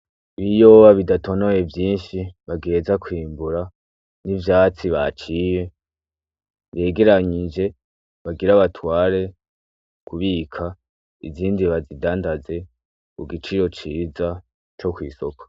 Ibiyoba bidatoniye vyishi bagiheza kwimbura n'ivyatsi baciye vyegeranyije bagira batware kubika izindi bazidandaze ku giciro ciza co kw’isoko.